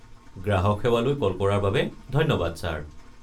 গ্ৰাহক সেৱালৈ কল কৰাৰ বাবে ধন্যবাদ, ছাৰ।